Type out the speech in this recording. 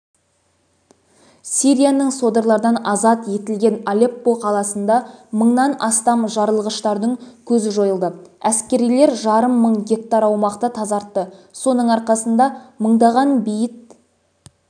сирияның содырлардан азат етілген алеппо қаласында мыңнан астам жарылғыштың көзі жойылды әскерилер жарым мың гектар аумақты тазартты соның арқасында мыңдаған бейбіт